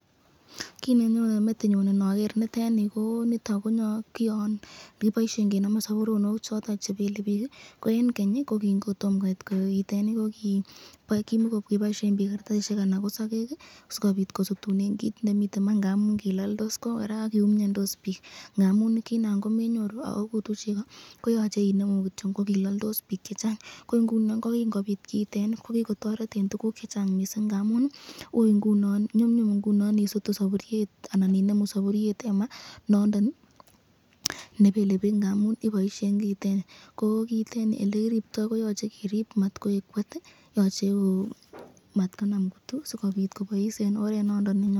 Kit nenyone metinyun inoger nitoni ko kit nekiboisyen kenamen sapuronik chepelebik, ko en Keny kingotomo koit koroiteni kokiboisyen bik kartasishek anan ko sakek sikobit kosutunen kit nemiten maa ngamun kilaldos, ko koraa kokiumiandos bik ngamun ki Nan komenyoru koyache inemu kolaldos, ako kilaldos bik chechang, kingoit kiiton kokikotoreb mising ,nyumnyum ingunon isutu tukuk chelaldos kiiteni koyache kerib matkotwanit simangemak, anan konam kutu.